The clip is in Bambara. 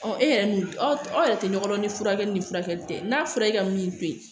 e yɛrɛ min aw yɛrɛ tɛ nɔgɔn dɔn ni furakɛli ni furakɛli tɛ n'a fɔra e ka min to yen